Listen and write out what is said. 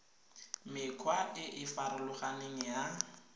mekgwa e e farologaneng ya